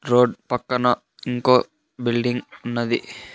Road పక్కన ఇంకో building ఉన్నది.